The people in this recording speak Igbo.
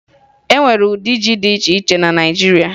E nwere ụdị ji di iche iche na Naịjiria